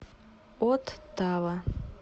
оттава